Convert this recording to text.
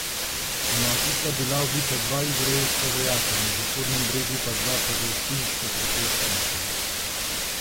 Ponoči sta bila ubita dva izraelska vojaka, na Zahodnem bregu pa dva palestinska protestnika.